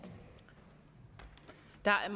der er